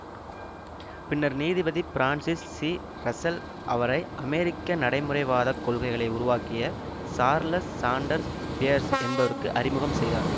பின்னர் நீதிபதி Francis C Russell அவரை அமெரிக்க நடைமுறைவாதக் கொள்கைகளை உருவாக்கிய சார்ல்ஸ் சாண்டர்ஸ் பியேர்ஸ் என்பவருக்கு அறிமுகம் செய்தார்